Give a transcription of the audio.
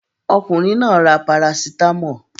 Ọkùnrin náà ra parasítámọ̀.